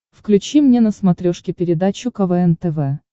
включи мне на смотрешке передачу квн тв